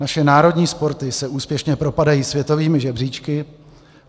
Naše národní sporty se úspěšně propadají světovými žebříčky.